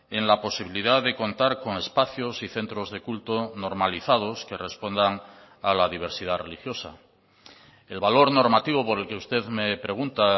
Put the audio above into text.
en la posibilidad de contar con espacios y centros de culto normalizados que respondan a la diversidad religiosa el valor normativo por el que usted me pregunta